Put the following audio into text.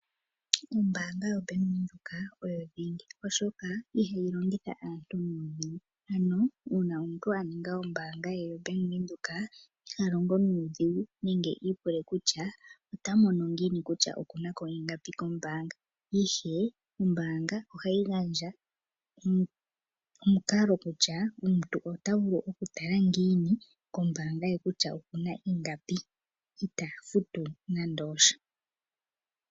Ombaanga yoBank-Windoek oyo dhingi oshoka ihayi longitha aantu nuudhigu. Ano, uuna omuntu aninga ombaanga ye yoBank-Windhoek ihalongo nuudhigu nenge iipule kutya ota mono ngiini kutya okuna ko ingapi kombaanga, ihe ombaanga ohayi gandja omukalo kutya omuntu ota vulu okutala ngiini kombaanga ye okuna ko ingapi ye itaa futu nande osha.